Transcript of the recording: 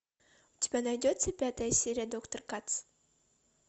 у тебя найдется пятая серия доктор кац